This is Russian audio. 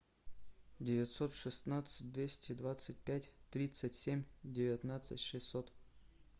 девятьсот шестнадцать двести двадцать пять тридцать семь девятнадцать шестьсот